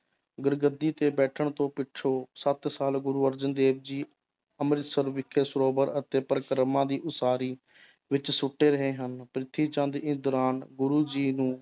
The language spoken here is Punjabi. ਗੁਰਗੱਦੀ ਤੇ ਬੈਠਣ ਤੋਂ ਪਿੱਛੋਂ ਸੱਤ ਸਾਲ ਗੁਰੁ ਅਰਜਨ ਦੇਵ ਜੀ ਅੰਮ੍ਰਿਤਸਰ ਵਿਖੇ ਸਰੋਵਰ ਅਤੇ ਪਰਿਕਰਮਾ ਦੀ ਉਸਾਰੀ ਵਿੱਚ ਸੁੱਟੇ ਰਹੇ ਹਨ, ਪ੍ਰਿੱਥੀ ਚੰਦ ਇਸ ਦੌਰਾਨ ਗੁਰੂ ਜੀ ਨੂੰ